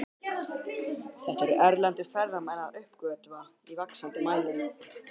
Þetta eru erlendir ferðamenn að uppgötva í vaxandi mæli.